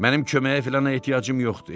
Mənim köməyə filana ehtiyacım yoxdur.